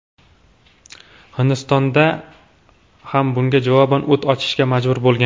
Hindiston ham bunga javoban o‘t ochishga majbur bo‘lgan.